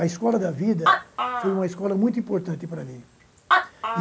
A escola da vida foi uma escola muito importante para mim.